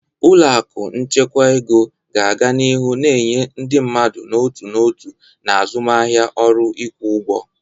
Ụlọ akụ nchekwa ego ga-aga n'ihu na-enye ndị mmadụ n'otu n'otu na azụmaahịa ọrụ ịkwụ ụgwọ.